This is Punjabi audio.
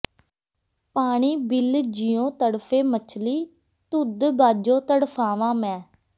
ਪਾਣੀ ਬਿਲ ਜਿਉਂ ਤਡ਼ਫੇ ਮਛਲੀ ਤੁਧ ਬਾਝੋਂ ਤਡ਼ਫਾਵਾਂ ਮੈਂ